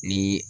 Ni